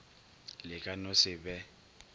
le ka no se be